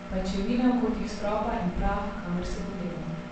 Pajčevine v kotih stropa in prah, kamor si pogledal.